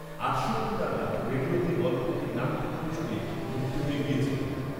আটষট্টি নাগাদ রেডিয়োতে গল্পটির নাট্যরূপ শুনে মুগ্ধ হয়ে গিয়েছিলাম